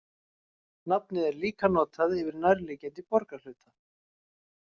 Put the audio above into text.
Nafnið er líka notað yfir nærliggjandi borgarhluta.